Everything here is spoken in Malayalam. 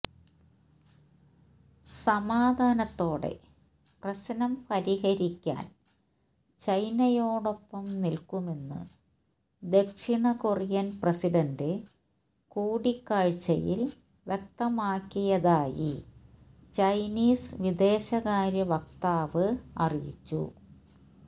സമാധാനത്തോടെ പ്രശ്നം പരിഹരിക്കാന് ചൈനയോടൊപ്പം നില്ക്കുമെന്ന് ദക്ഷിണകൊറിയന് പ്രസിഡന്റ് കൂടിക്കാഴ്ചയില് വ്യക്തമാക്കിയതായി ചൈനീസ് വിദേശകാര്യ വക്താവ് അറിയിച്ചു